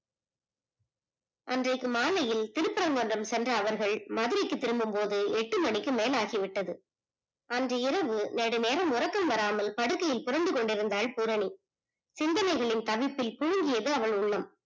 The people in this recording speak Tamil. அன்றைக்கு மாலையில் திருபறங்குன்றம் சென்ற அவர்கள் மதுரைக்கு திரும்பும் போது எட்டு மணிக்கு மேல் ஆகிவிட்டது, அன்று இரவு நெடு நேரம் உறக்கம் வராமல் படுக்கையில் புலம்பி கொண்டுஇருந்தால் பூரணி சிந்தனைகளின் தவிப்பிள் திகழ்கியது அவள் உள்ளம்